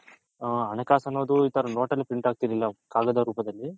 ಹಣ ಕಾಸು ಅನ್ನೋದು ಈ ತರ note ಅಲ್ಲಿ print ಆಗ್ತಿರ್ಲಿಲ್ಲ ಕಾಗದ ರೂಪದಲ್ಲಿ